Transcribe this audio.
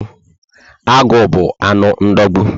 Agụ bu anụ ndogbu